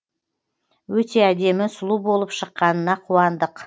өте әдемі сұлу болып шыққанына қуандық